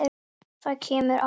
Það kemur á hann.